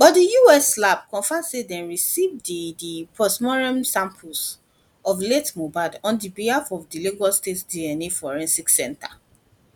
but di us labs confam say dem receive di di postmortem samples of late mohbad on behalf of di lagos state dna forensic center